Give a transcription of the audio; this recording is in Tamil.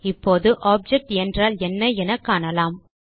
இப்போது ஆப்ஜெக்ட் என்றால் என்ன என காணலாம்